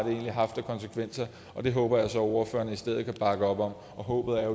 haft af konsekvenser det håber jeg så at ordførerne i stedet kan bakke op om og håbet er